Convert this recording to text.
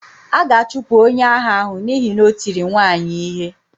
A ga-achụpụ onye agha ahụ n'ihi na o tiri nwaanyị ihe.